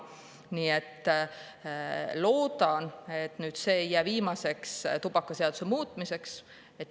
Nii et loodan, et nüüd see ei jää viimaseks tubakaseaduse muutmiseks.